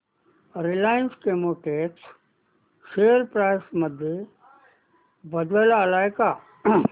Reliance Chemotex share price मध्ये बदल आलाय का